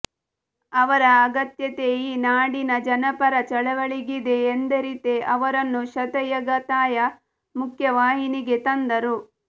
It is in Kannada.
ಅವರ ಅಗತ್ಯತೆ ಈ ನಾಡಿನ ಜನಪರ ಚಳವಳಿಗಿದೆ ಎಂದರಿತೇ ಅವರನ್ನು ಶತಾಯಗತಾಯ ಮುಖ್ಯವಾಹಿನಿಗೆ ತಂದರು